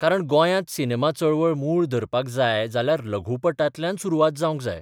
कारण गोंयांत सिनेमा चळवळ मूळ धरपाक जाय जाल्यार लघुपटांतल्यान सुरवात जावंक जाय.